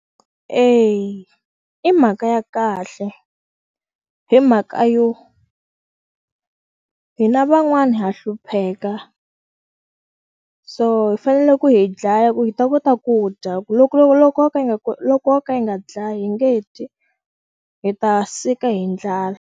Eya i mhaka ya kahle hi mhaka yo hina van'wani ha hlupheka so hi fanele ku yi dlaya ku hi ta kota ku dya ku loko loko loko yo ka yi nga loko yo ka yi nga dlaya hi nge dyi hi ta sika hi ndlala.